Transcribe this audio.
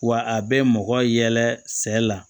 Wa a bɛ mɔgɔ yɛlɛ sɛ la